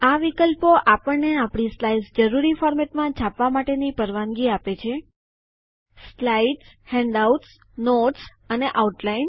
આ વિકલ્પો આપણને આપણી સ્લાઇડ્સ જરૂરી ફોરમેટમાં છાપવા માટેની પરવાનગી આપે છે slides handouts notes and outline